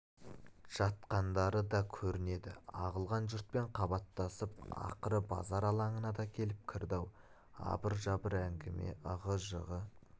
жатқандары да көрінеді ағылған жұртпен қабаттасып ақыры базар алаңына да келіп кірді-ау абыр-жабыр әңгіме ығы-жығы